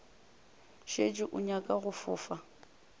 šetše o nyaka go fofa